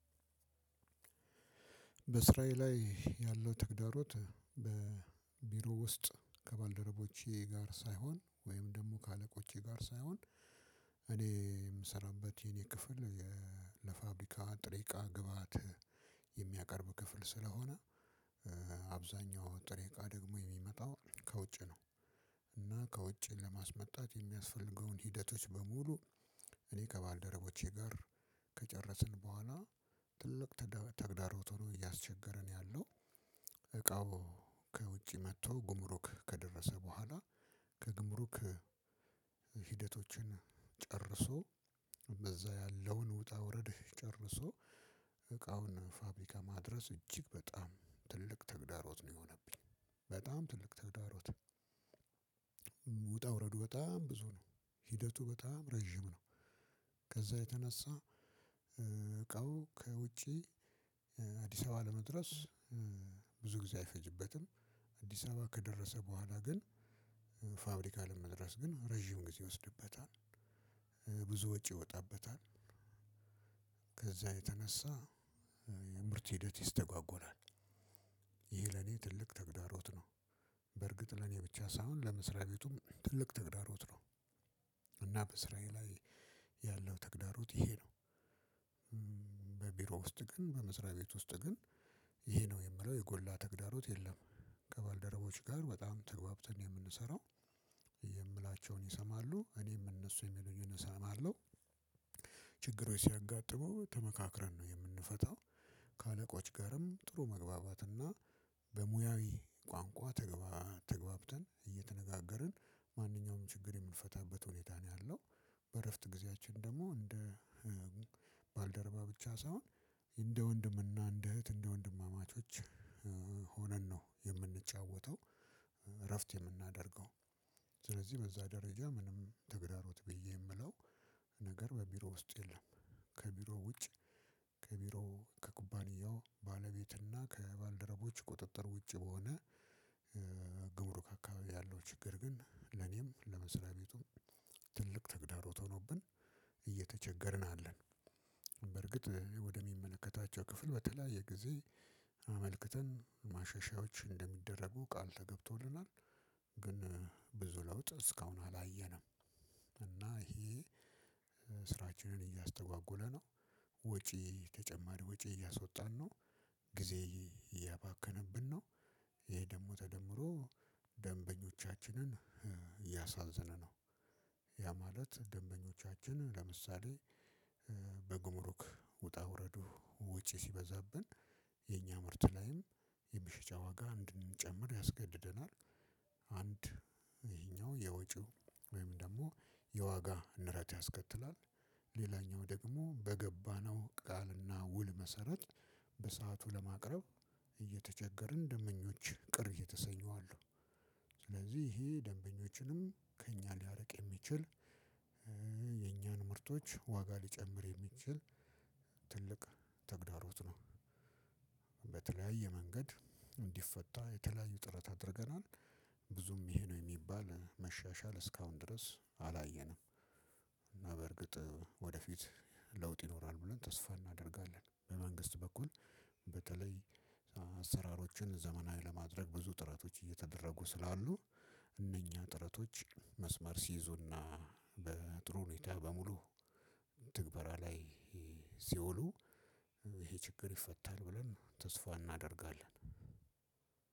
በእስራኤል ላይ ያለው ተግዳሮት በቢሮ ውስጥ ከባልደረቦቼ ጋር ሳይሆን ወይም ደግሞ ከአለቆቼ ጋር ሳይሆን እኔ የምሰራበት የኔ ክፍል ለፋብሪካ ጥሬቃ ግብአት የሚያቀርብ ክፍል ስለሆነ አብዛኛ ጥሬቃ ደግሞ የሚመጣው ከውጭ ነው። እና ከውጭ ለማስመጣት የሚያስፈልገውን ሂደቶች በሙሉ እኔ ከባልደረቦቼ ጋር ከጨረስኩ በኋላ ትልቅ ተግዳሮት ሁኖ እያስቸገረን ያለው እቃው ከውጪ መጥቶ ጉምሮክ ከደረሰ በኋላ ከግምሩክ ሂደቶችን ጨርሶ በዛ ያለውን ውጣ ውረድ ጨርሶ እቃውን ፋብሪካ ማድረስ እጅግ በጣም ትልቅ ተግዳሮት ነው የሆነብኝ። በጣም ትልቅ ተግዳሮት ውጣ ውረዱ በጣም ብዙ ነው፤ ሂደቱ በጣም ረጅም ነው። ከዛ የተነሳ እቃው ከውጪ አዲስ አበባ ለመድረስ ብዙ ጊዜ አይፈጅበትም። አዲስ አበባ ከደረሰ በኋላ ግን ፋብሪካ ለመድረስ ግን ረጅም ጊዜ ወስድበታል። ብዙ ወጪ ይወጣበታል ከዛ የተነሳ የምርት ሂደት ይስተጓጎላል ይህ ለኔ ትልቅ ተግዳሮት ነው። በርግጥ ለኔ ብቻ ሳይሆን ለመስሪያ ቤቱም ትልቅ ተግዳሮት ነው። እናም በስራዬ ላይ ያለው ተግዳሮት ይሄ ነው። በቢሮ ውስጥ ግን በምስሪያ ቤት ውስጥ ግን ይሄ ነው የምለው የጎላ ተግዳሮት የለም። ከባልደረቦች ጋር በጣም ተግባብተን የምንሰራው የምላቸውን ይሰማሉ እኔም እነሱ የሚለኝን እሰማለሁ ችግሮች ሲያጋጥሙ ተመካክረን ነው የምንፈታው። ከአለቆች ጋርም ጥሩ መግባባትና በሙያዊ ቋንቋ ተገባ ተገብተን እየተነጋገርን ማንኛውም ችግር የምንፈታበት ሁኔታ ነው ያለው። በእረፍት ጊዜያችን ደግሞ እንደ ባልደረባ ብቻ ሳይሆን እንደ ወንድምና እንደ እህት እንደ ወንድማማቾች ሆነን ነው የምንጫወተው። እረፍት የምናደርገው ስለዚህ በዛ ደረጃ ምንም ትግራሮት ብዬ የምለው ነገር በቢሮ ውስጥ የለም። ከቢሮ ውጭ ከቢሮ ከኩባንያው ባለቤትና ከባልደረቦች ቁጥጥር ውጭ በሆነ ግብሩ ከአካባቢ ያለው ችግር ግን ለኔም ለመስሪያ ቤቱም ትልቅ ተግዳሮት ሆኖብን እየተቸገርን አለን። በርግጥ ወደሚመለከታቸው ክፍል በተለያየ ጊዜ አመልክተን ማሸሻዎች እንደሚደረጉ ቃል ተገብቶልናል። ግን ብዙ ለውጥ እስካሁን አላየንም እና ይሄ ስራችንን እያስተጓጎለ ነው። ወጪ ተጨማሪ ወጪ እያስወጣን ነው ጊዜ እያባከነብን ነው። ይሄ ደግሞ ተደምሮ ደንበኞቻችንን ያሳዝነናል። ያ ማለት ደንበኞቻችን ለምሳሌ በጉምሩክ ውጣ ውረዱ ውጪ ሲበዛብን። የኛ ምርት ላይም የመሽጫ ዋጋ እንድንጨምር ያስገድደናል። አንድ ይሄኛው የውጪው ወይም ደግሞ የዋጋ ንረት ያስከትላል ሌላኛው ደግሞ በገባነው ቃልና ውል መሰረት በሰአቱ ለማቅረብ እየተቸገርን ደምበኞች ቅር እየተሰኙ አሉ። ስለዚህ ይሄ ደንበኞችንም ከእኛ ሊያርቅ የሚችል የኛን ምርቶች ዋጋ ሊጨምር የሚችል ትልቅ ተግዳሮት ነው። በተለያየ መንገድ እንዲፈታ የተለያዩ ጥረት አድርገናል። ብዙም ይሄ ነው የሚባል መሻሻል እስካሁን ድረስ አላየንም። እና በእርግጥ ወደፊት ለውጥ ይኖራል ብለን ተስፋ እናደርጋለን። በመንግስት በኩል በተለይ አሰራሮችን ዘመናዊ ለማድረግ ብዙ ጥረቶች እየተደረጉ ስላሉ እነኛ ጥረቶች መስመር ሲይዙና በጥሩ ሁኔታ በሙሉ ተግባራ ላይ ሲውሉ ይሄ ችግር ይፈታል ብለን ተስፋ እናደርጋለን።